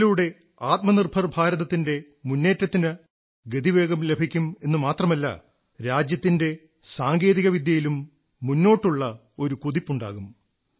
ഇതിലൂടെ ആത്മനിർഭർ ഭാരതത്തിന്റെ മുന്നേറ്റത്തിന് ഗതിവേഗം ലഭിക്കുമെന്നു മാത്രമല്ല മറിച്ച് രാജ്യത്തിന്റെ സാങ്കേതിക വിദ്യയിലും മുന്നോട്ടുള്ള കുതിപ്പുണ്ടാകും